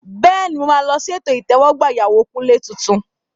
Bẹ́ẹ̀ni, mo máa lọ sí ètò ìtẹ́wọ́gbà ìyàwó Kunle tuntun.